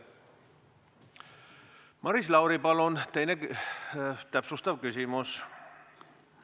Maris Lauri, palun täpsustav küsimus!